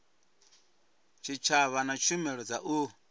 tshitshavha na tshumelo dza u